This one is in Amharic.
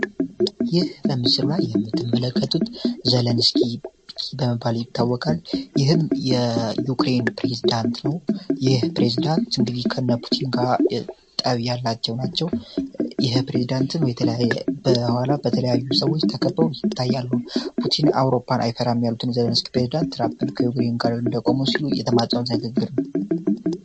ይህ በምስር ራ የህምትን መለከቱት ዘለንስኪ በመባል ይታወቃል ይህም የዩክሬይን ፕሬዝዳንት ነው ይህ ፕሬዳንት እንግዲከነ ፑቲንጋጠብ ያላቸው ናቸው ይህ ፕሬዝዳንትን የተለ በኋላ በተለያዩ ሰዎች ተከበው ይታያለ ፑቲን አውሮፓን አይፈራሚ ያሉትን ዘለንስኪ ፕሬዝዳንት ትራppን ከዩክራይን ጋር እንደቆመ ሲሉ የተማፀም ተንግግር ነው